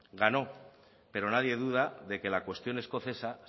ganó pero nadie duda de que la cuestión escocesa